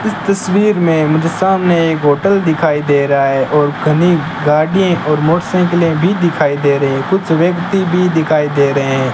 इस तस्वीर में मुझे सामने एक होटल दिखाई दे रहा है और घनी गाड़ीये और मोटरसाइकिलें भी दिखाई दे रहें कुछ व्यक्ति भी दिखाई दे रहें --